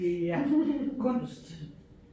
Ja kunst